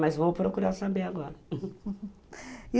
Mas vou procurar saber agora.